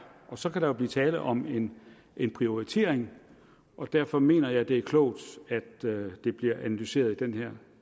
og så kan der jo blive tale om en en prioritering derfor mener jeg det er klogt at det bliver analyseret i den her